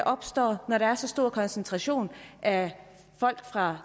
opstår når der er så stor koncentration af folk fra